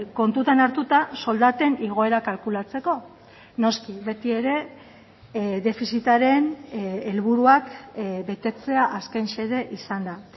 kontutan hartuta soldaten igoera kalkulatzeko noski beti ere defizitaren helburuak betetzea azken xede izanda